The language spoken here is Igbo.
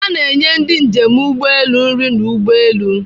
A na-enye ndị njem ụgbọelu nri n'ụgbọelu.